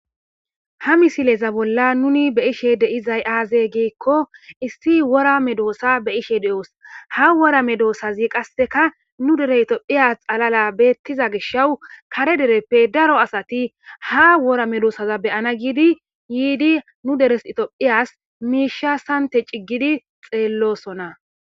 ha misileza bolla nuni be'ishe de'izay aaze giekko issi wora medoossa beyishe de'os ha wora medoosazi qasseka nu dere itophiya xalala beettiza gishawu kare dereppe daro asati ha wora medoosaza be'ana giidi yiidi nu deres itophiyas miisha sante ciggidi xeellosona